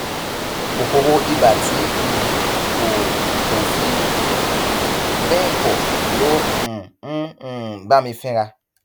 kòkòrò ibà tí um kò kò fi bẹẹ pọ ló um ń um bá mi fínra